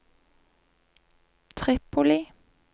Tripoli